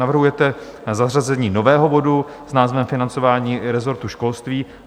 Navrhujete zařazení nového bodu s názvem Financování resortu školství.